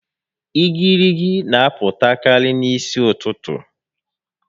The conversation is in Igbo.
Igirigi n'apụtakarị n'isi ụtụtụ